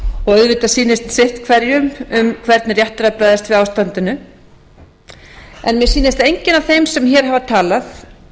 auðvitað sýnist sitt hverjum hvernig rétt er að bregðast við ástandinu en mér sýnist að enginn af þeim sem hér hafa talað